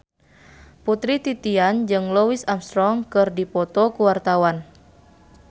Putri Titian jeung Louis Armstrong keur dipoto ku wartawan